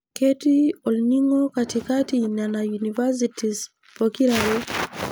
Ketii Orning'o katikati nena universities pokirare.